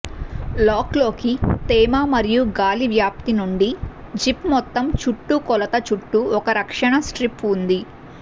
lock లోకి తేమ మరియు గాలి వ్యాప్తి నుండి జిప్ మొత్తం చుట్టుకొలత చుట్టూ ఒక రక్షణ స్ట్రిప్ ఉంది